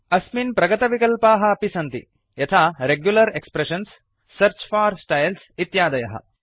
अस्मिन् प्रगतविकल्पाः अपि सन्ति यथा regular expressions search for styles इत्यादयः